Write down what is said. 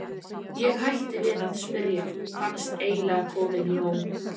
Ég hætti við að spyrja, fannst eiginlega komið nóg.